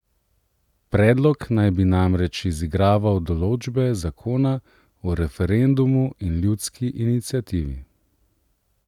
Predlog naj bi namreč izigraval določbe zakona o referendumu in ljudski iniciativi.